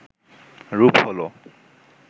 রূপ হল